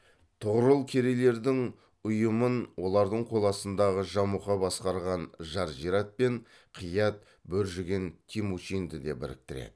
тұғырыл керейлердің ұйымын олардың қол астындағы жамұха басқарған жаржират пен қиат бөржіген темучинді де біріктіреді